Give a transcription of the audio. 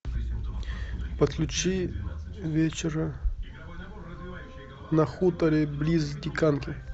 подключи вечера на хуторе близ диканьки